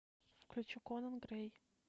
включи конан грэй